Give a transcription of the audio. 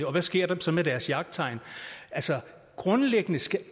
og hvad sker der så med deres jagttegn grundlæggende skal